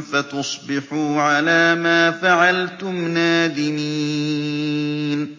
فَتُصْبِحُوا عَلَىٰ مَا فَعَلْتُمْ نَادِمِينَ